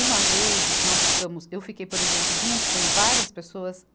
Uma vez, nós ficamos, eu fiquei, por exemplo, junto com várias pessoas.